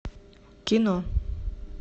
кино